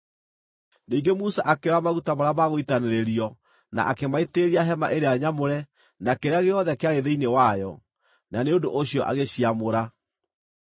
Ningĩ Musa akĩoya maguta marĩa ma gũitanĩrĩrio na akĩmaitĩrĩria Hema-ĩrĩa-Nyamũre na kĩrĩa gĩothe kĩarĩ thĩinĩ wayo, na nĩ ũndũ ũcio agĩciamũra.